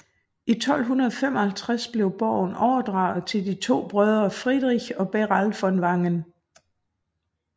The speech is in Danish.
I 1255 blev borgen overdraget til de to brødre Friedrich og Beral von Wangen